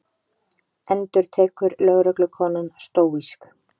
endurtekur lögreglukonan stóísk.